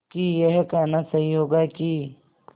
कि यह कहना सही होगा कि